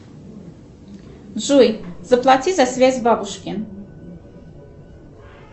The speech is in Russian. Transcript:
джой заплати за связь бабушке